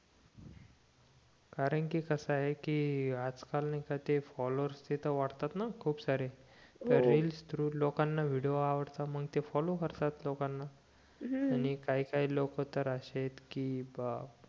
कारण कि कस आहे आज कल नाही का ते फॉलोवर ते त वाढतात न खूप सारे रिल्स थ्रू लोकांना व्हिडिओ आवडतात म्हणून ते फॉलो करतात लोकांना हम्म आणि काही काही लोक तर असे आहेत कि बाप